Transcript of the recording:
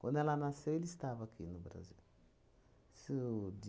Quando ela nasceu, ele estava aqui, no Brasil. Isso de